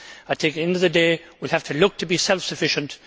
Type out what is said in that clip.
At the end of the day, we have to look to be self sufficient.